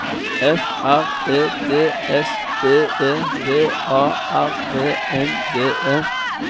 F R E D S B E V A R E N D E